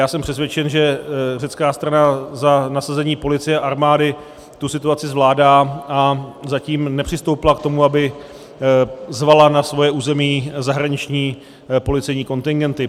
Já jsem přesvědčen, že řecká strana za nasazení policie a armády tu situaci zvládá, a zatím nepřistoupila k tomu, aby zvala na svoje území zahraniční policejní kontingenty.